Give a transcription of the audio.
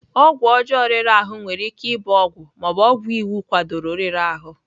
Ọgwụ ọjọọ riri ahụ nwere ike ịbụ ọgwụ ma ọ bụ ọgwụ iwu kwadoro riri ahụ.